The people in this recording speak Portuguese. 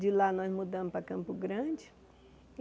De lá nós mudamos para Campo Grande.